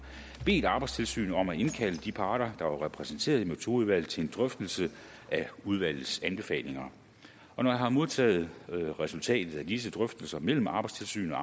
bedt arbejdstilsynet om at indkalde de parter der var repræsenteret i metodeudvalget til en drøftelse af udvalgets anbefalinger når jeg har modtaget resultatet af disse drøftelser mellem arbejdstilsynet